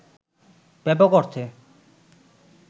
ব্যাপক অর্থে